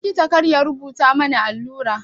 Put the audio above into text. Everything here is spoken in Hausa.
Likita kar ya rubuta mani allura.